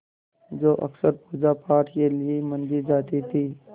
जो अक्सर पूजापाठ के लिए मंदिर जाती थीं